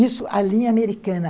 Isso, a linha americana.